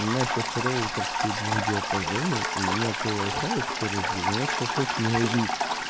у меня сейчас роутер стоит двухдиапазонный у меня по вайфаю скорость девяносто шесть мегабит